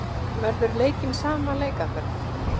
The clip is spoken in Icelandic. Verður leikinn sama leikaðferð?